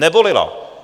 Nevolila.